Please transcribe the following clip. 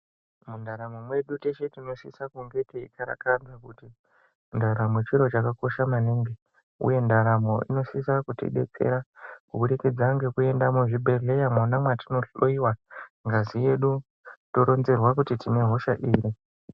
Muntaramo dzedu teshe tinosise kunge teikarakadza kuti ndaramo chiro chakakosha maningi uye ntaramo inosise kutidetsera kubudikidza ngekuende muzvhibhedhlera mwona mwatinohloyiwa ngazi yedu toronzerwa kuti tine hosha iri.